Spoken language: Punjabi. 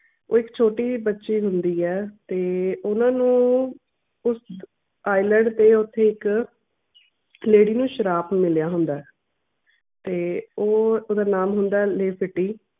ਇੱਕ ਛੋਟੀ ਬੱਚੀ ਹੁੰਦੀ ਐ ਤੇ ਉਹਨਾਂ ਨੇ ਉਸ ਤੇ ਓਥੇ ਉੱਤੇ ਨੂੰ ਸ਼ਰਾਪ ਮਿਲਿਆ ਹੁੰਦਾ ਐ ਤੇ ਉਹ ਓਹਦਾ ਨਾਮ ਹੁੰਦਾ ਆ